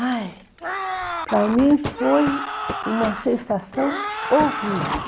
Ai, para mim foi uma sensação horrível.